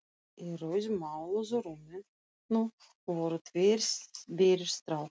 Í rauðmáluðu rúminu voru tveir berir strákar.